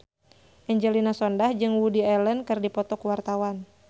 Angelina Sondakh jeung Woody Allen keur dipoto ku wartawan